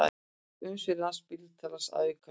Umsvif Landspítala að aukast